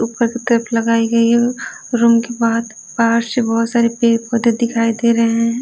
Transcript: ऊपर की तरफ लगाई गई है रूम के बाद बाहर से बहुत सारे पेड़ पौधे दिखाई दे रहे हैं।